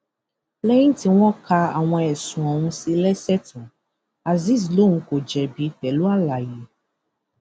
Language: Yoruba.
lẹyìn tí wọn ka àwọn ẹsùn ọhún sí i lẹsẹ tán azeez lóun kò jẹbi pẹlú àlàyé